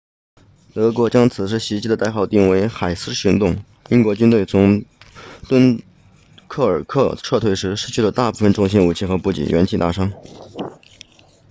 德国将此次袭击的代号定为海狮行动英国军队从敦刻尔克撤退时失去了大部分重型武器和补给元气大伤